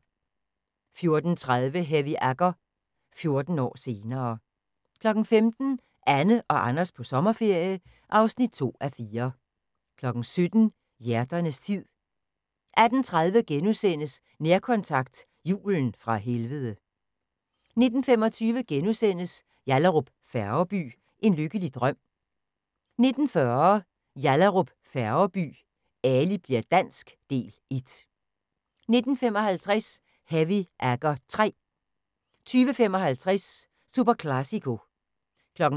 14:30: Heavy Agger – 14 år senere 15:00: Anne og Anders på sommerferie (2:4) 17:00: Hjerternes tid 18:30: Nærkontakt – Julen fra helvede * 19:25: Yallahrup Færgeby: En lykkelig drøm * 19:40: Yallahrup Færgeby: Ali bli'r dansk – Del 1 19:55: Heavy Agger III 20:55: SuperClásico 23:00: